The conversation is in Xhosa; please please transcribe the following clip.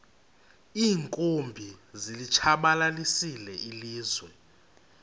iinkumbi zilitshabalalisile ilizwe